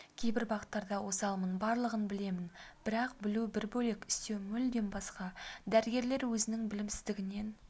кейбір бағыттарда осалмын барлығын білемін бірақ білу бір бөлек істеу мүлдем басқа дәрігерлер өзінің білімсіздігінен